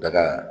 Daga